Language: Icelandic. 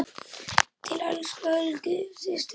Til elsku Helgu systur minnar.